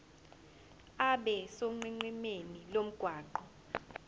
abe sonqenqemeni lomgwaqo